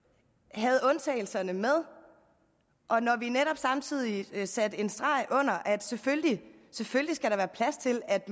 havde undtagelserne med og når vi netop samtidig satte en streg under at der selvfølgelig skal være plads til at